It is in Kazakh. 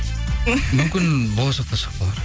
мүмкін болашақта шығып қалар